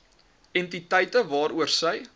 entiteite waaroor sy